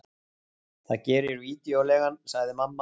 Það gerir vídeóleigan, sagði mamma.